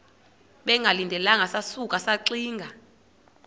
bengalindelanga sasuka saxinga